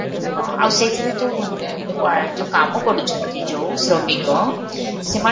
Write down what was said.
ହଁ, ଆଉ ସେଇଥିରେ ଯଉ wire ଯଉ କାମ କରୁଛନ୍ତି ଯଉ ଶ୍ରମିକ ସେମାନ